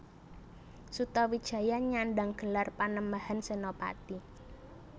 Sutawijaya nyandang gelar Panembahan Senapati